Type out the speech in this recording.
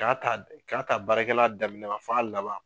K'a ta k'a ta baarakɛla daminɛ na fɔ a laban.